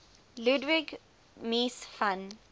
ludwig mies van